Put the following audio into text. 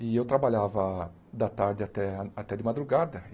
E eu trabalhava da tarde até até de madrugada.